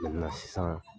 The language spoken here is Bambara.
sisan